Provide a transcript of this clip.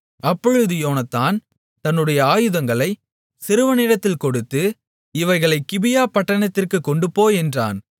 அப்பொழுது யோனத்தான் தன்னுடைய ஆயுதங்களை சிறுவனிடத்தில் கொடுத்து இவைகளைப் கிபியா பட்டணத்திற்குக் கொண்டுபோ என்றான்